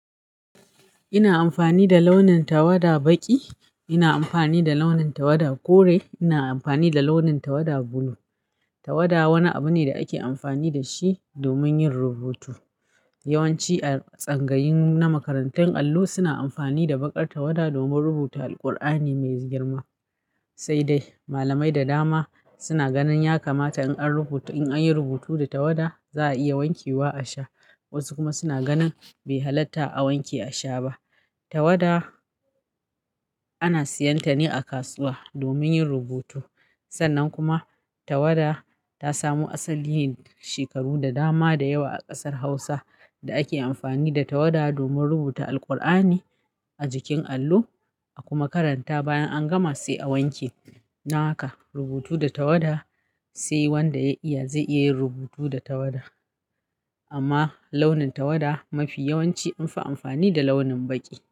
Ina amfani da launin tawada baƙi, ina amfani da launin tawada kore, ina amfani da launin tawada bulu. Tawada wani abu ne da ake amfani da shi domin yin rubutu. Yawanci a tsangayin na makarantun allo suna amfani da baƙar tawada domin rubuta Alqur'ani me girma. Sai dai malamai da dama suna ganin ya kamata in an rubuta, in an yi rubutu da tawada za a iya wanke wa a sha. Wasu kuma suna ganin bai halatta a wanke a sha ba. Tawada ana siyan ta ne a kasuwa domin yin rubutu. Sannan kuma tawada ta samo asali shekaru da dama da yawa a ƙasar Hausa da ake amfani da tawada domin rubuta Alkur'ani a jikin allo a kuma karanta bayan an gama sai a wanke. Dan haka rubutu da tawada sai wanda ya iya zai iya yin rubutu da tawada. Amma launin tawada mafi yawanci anfi amfani da launin baƙi.